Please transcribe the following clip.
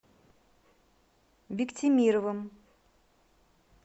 биктимировым